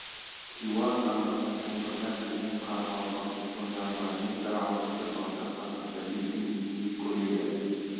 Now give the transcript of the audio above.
хиуа хандығының қолтығына кірген қарақалапақ шонжарларымен бір ауызды батыр қазақты иттің етіндей көреді